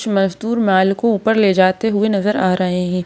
मजदूर माल को ऊपर ले जाते हुए नजर आ रहे हैं।